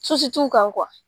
t'u kan